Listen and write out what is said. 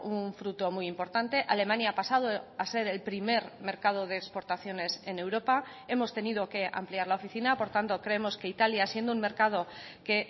un fruto muy importante alemania ha pasado a ser el primer mercado de exportaciones en europa hemos tenido que ampliar la oficina por tanto creemos que italia siendo un mercado que